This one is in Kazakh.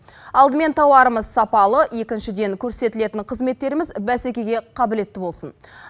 алдымен тауарымыз сапалы екіншіден көрсетілетін қызметтеріміз бәсекеге қабілетті болсын